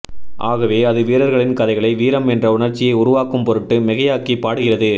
ஆகவே அது வீரர்களின் கதைகளை வீரம் என்ற உணர்ச்சியை உருவாக்கும்பொருட்டு மிகையாக்கி பாடுகிறது